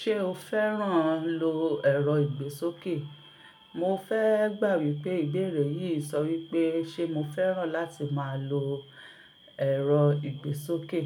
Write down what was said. Ṣé o fẹ́ràn lo ẹ̀rọ ìgbésókè? Mo fẹ́ gbà wípé ìbéèrè yìí sọ wípé ṣe mo fẹ́ràn láti máa lo ẹ̀rọ ìgbésókè.